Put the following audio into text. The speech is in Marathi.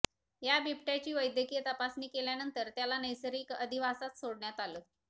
या बिबट्याची वैद्यकीय तपासणी केल्यानंतर त्याला नैसर्गिक अधिवासात सोडण्यात आलं